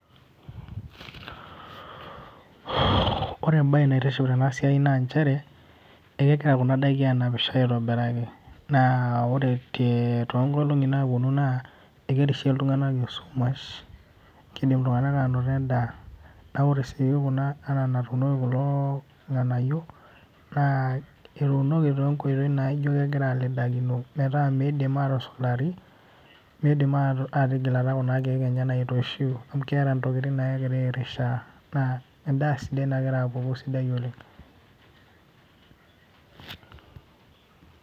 Ore ebae naitiship tenasiai na njere, kegira kuna daiki anapisho aitobiraki. Naa ore tonkolong'i naponu naa, ekerishie iltung'anak esumash. Kidim iltung'anak anoto endaa. Na ore si kuna enaa enatuuno kulo ng'anayio, naa etuunoki tonkoitoii naijo kegira alidakino metaa midim atusulari, midim atigilata kuna keek enye nairoshiu, amu keeta intokiting nagira airishaa, naa endaa sidai nagira apuku sidai oleng.